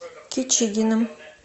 кичигиным